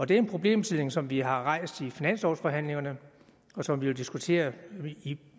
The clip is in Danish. det er en problemstilling som vi har rejst i finanslovsforhandlingerne og som vi jo diskuterer i